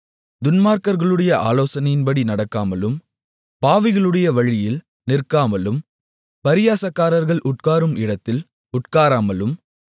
துன்மார்க்கர்களுடைய ஆலோசனையின்படி நடக்காமலும் பாவிகளுடைய வழியில் நிற்காமலும் பரியாசக்காரர்கள் உட்காரும் இடத்தில் உட்காராமலும்